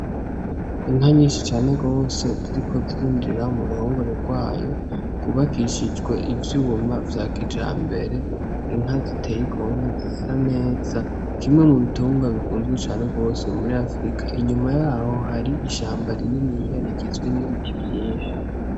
Inka nyinshi cane gose ziriko zirinjira muruhongore rwayo rwubakishije ivyuma vya kijambere , inka ziteye igomwe zisa neza kimwe mu bitungwa bikunzwe cane gose muri afrika inyuma yaho hari ishamba rininiya rigizwe n'ibiti vyinshi.